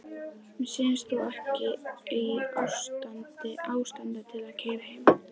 Mér sýnist þú ekki í ástandi til að keyra heim.